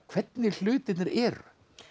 hvernig hlutirnir eru